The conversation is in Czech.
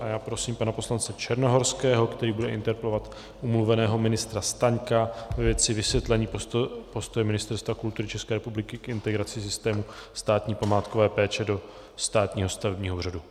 A já prosím pana poslance Černohorského, který bude interpelovat omluveného ministra Staňka ve věci vysvětlení postoje Ministerstva kultury České republiky k integraci systému státní památkové péče do státního stavebního úřadu.